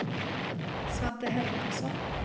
Svante Hermansson